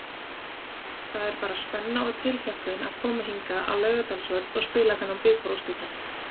Það er bara spenna og tilhlökkun að koma hingað á Laugardalsvöll og spila þennan bikarúrslitaleik.